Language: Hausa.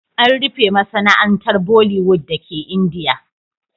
An rufe masana'antar Bollywood dake Indiya.